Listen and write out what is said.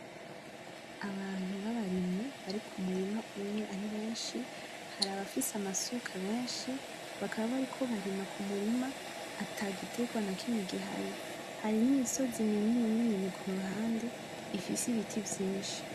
Abantu babarimyi barikumurima umye aribenshi, hari abafise amasuka benshi, bakaba bariko barima kumurima atagitegwa nakimye gihari. Hari nimisozi minini kuruhande ifise ibiti vyinshi.